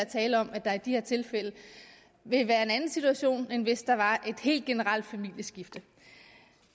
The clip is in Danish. tale om at der i de her tilfælde vil være en anden situation end hvis der var et helt generelt familieskifte